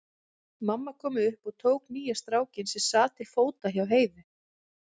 Mamma kom upp og tók nýja strákinn, sem sat til fóta hjá Heiðu.